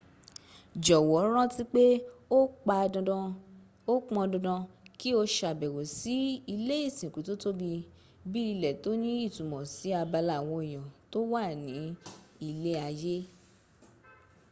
jọ̀wọ́ rántí pé ó pandandan kí o ṣàbẹ̀wò sí ilé ìsìnkú tó tóbí bí ilẹ̀ tó ní ìtumọ̀ sí abala àwọn ènìyàn tó wà ní ilé ayé